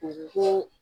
Ko